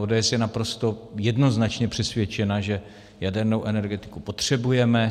ODS je naprosto jednoznačně přesvědčena, že jadernou energetiku potřebujeme.